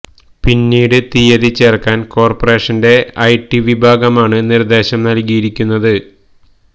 പിന്നീടുള്ള തീയതി ചേര്ക്കാന് കോര്പ്പറേഷന്റെ ഐ ടി വിഭാഗമാണ് നിര്ദേശം നല്കിയിരിക്കുന്നത്